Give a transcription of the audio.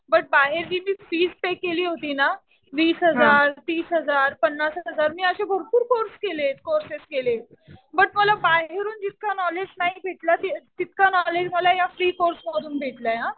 But बाहेर जी मी फीस पे केली होती ना वीस हजार, तीस हजार, पन्नास हजार. मी असे भरपूर कोर्स केले. कोर्सेस केलेत. बट मला बाहेरून जितकं नॉलेज नाही भेटलं तितकं नॉलेज मला या फ्री कोर्स मधून भेटलय हा.